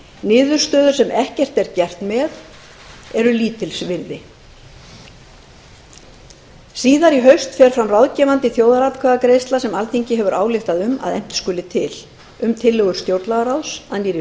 niðurstöður sem ekkert er gert með eru lítils virði síðar í haust fer fram ráðgefandi þjóðaratkvæðagreiðsla sem alþingi hefur ályktað um að efnt skuli til um tillögur stjórnlagaráðs að nýrri